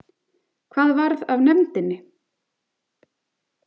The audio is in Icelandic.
Hvað varð af nefndinni?